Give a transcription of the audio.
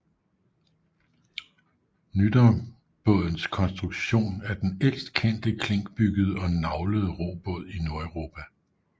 Nydambådens konstruktion er den ældst kendte klinkbyggede og naglede robåde i Nordeuropa